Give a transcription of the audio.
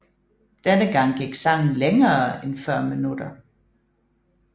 Denne gang gik sangen længere end 40 minutter